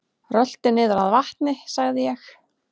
Rölti niður að vatni sagði ég.